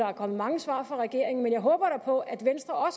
er kommet mange svar fra regeringen men jeg håber da på at venstre